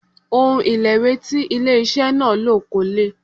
Òun ìlẹ̀wé tí ó ilé iṣẹ́ náà lò kò lè.